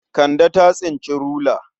Kande ta tsinci rula.